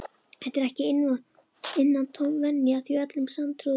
Þetta er ekki innantóm venja, því öllum sanntrúuðum